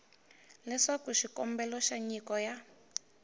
leswaku xikombelo xa nyiko ya